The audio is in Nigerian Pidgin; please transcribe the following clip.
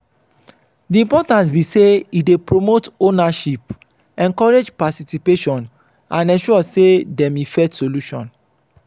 di importance be say e dey promote ownership encourage participation and ensure say dem effect solution.